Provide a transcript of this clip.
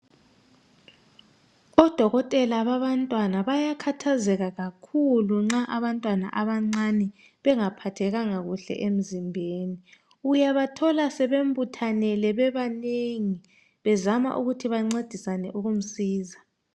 Odokotela babantwana bayakhathazeka kakhulu nxa abantwana abancane bengaphathekanga kuhle emzimbeni uyabathola sebembuthanele bebanengi bezama ukuthi bancedisane ukumsiza